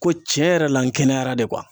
Ko ciɲɛ yɛrɛ la n kɛnɛyara de